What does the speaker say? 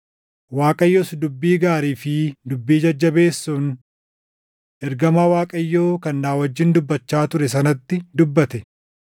Waaqayyos dubbii gaarii fi dubbii jajjabeessuun ergamaa Waaqayyoo kan na wajjin dubbachaa ture sanatti dubbate.